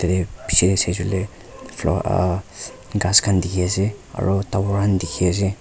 tatey bechey tey saishe koile flower ah ghass khan dekhe ase aro tower khan dekhe ase.